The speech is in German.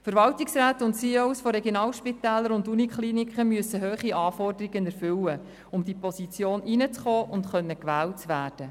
Verwaltungsräte und CEOs von Regionalspitälern und Unikliniken müssen hohe Anforderungen erfüllen, um in diese Positionen zu gelangen und gewählt zu werden.